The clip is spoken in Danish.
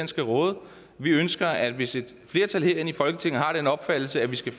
skal råde vi ønsker at hvis et flertal herinde i folketinget har den opfattelse at der skal